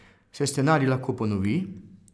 Se scenarij lahko ponovi?